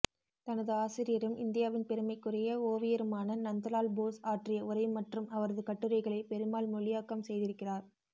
தனது ஆசிரியரும் இந்தியாவின் பெருமைக்குரிய ஓவியருமான நந்தலால் போஸ் ஆற்றிய உரை மற்றும் அவரது கட்டுரைகளை பெருமாள் மொழியாக்கம் செய்திருக்கிறார்